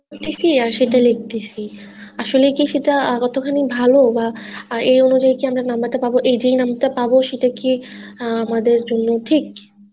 করতেছি আর শুধু লিখতেছি আসলে কি সেটা কত খানি ভাল বা আহ এ অনুযায়ী আমরা number টা পাবো সেটাও কি আহ আমাদের জন্য ঠিক